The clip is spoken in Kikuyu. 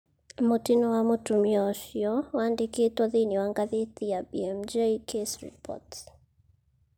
Mũtino wa mũtumia ũcio wandĩkĩtwo thĩinĩ wa ngathĩti ya BMJ Case Reports.